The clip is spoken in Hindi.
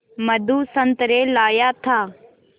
मधु संतरे लाया था